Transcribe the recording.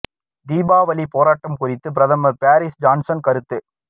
தீபாவளி போராட்டம் குறித்து பிரதமர் போரிஸ் ஜான்சன் கருத்து